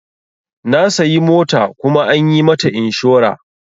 Na sayi mota kuma an yi mata inshora.